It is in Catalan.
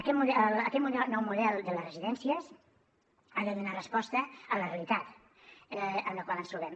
aquest nou model de les residències ha de donar resposta a la realitat en la qual ens trobem